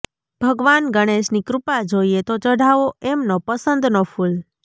ભગવાન ગણેશની કૃપા જોઈએ તો ચઢાવો એમનો પસંદનો ફૂલ